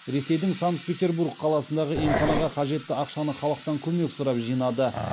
ресейдің санкт петербург қаласындағы емханаға қажетті ақшаны халықтан көмек сұрап жинады